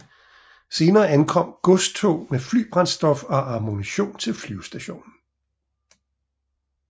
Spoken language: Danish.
Senere ankom godstog med flybrændstof og ammunition til flyvestationen